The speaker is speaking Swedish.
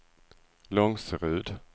Långserud